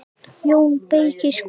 JÓN BEYKIR: Skúli?